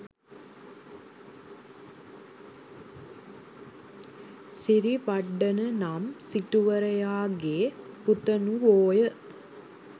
සිරිවඩ්ඩන නම් සිටුවරයා ගේ පුතණුවෝය.